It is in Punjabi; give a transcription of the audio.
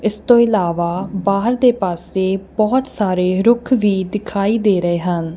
ਇਸ ਤੋਂ ਇਲਾਵਾ ਬਾਹਰ ਦੇ ਪਾਸੇ ਬਹੁਤ ਸਾਰੇ ਰੁੱਖ ਵੀ ਦਿਖਾਈ ਦੇ ਰਹੇ ਹਨ।